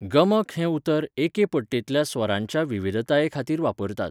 गमक हें उतर एके पट्टेंतल्या स्वरांच्या विविधतायेखातीर वापरतात.